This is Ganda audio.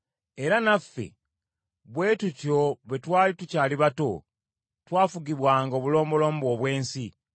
Era naffe bwe tutyo bwe twali tukyali bato, twafugibwanga obulombolombo obw’ensi.